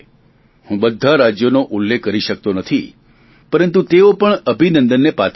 હું બધા રાજ્યોનો ઉલ્લેખ કરી શકતો નથી પરંતુ તેઓ પણ અભિનંદનને પાત્ર છે